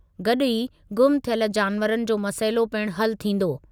गॾु ई गुम थियल जानवरनि जो मसइलो पिणु हलु थींदो।